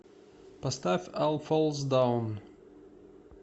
поставь ал фолс даун